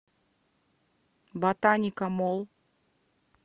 ботаника молл